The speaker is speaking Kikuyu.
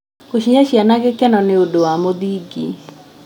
Gũcihe ciana gĩkeno nĩ ũndũ wa mũthingi.